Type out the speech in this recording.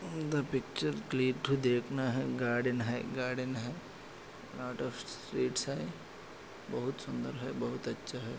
The picture click to देखना है garden garden है गार्डन स्वीट स है बहुत सुन्दर है बहुत अच्छा है।